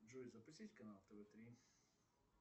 джой запустить канал тв три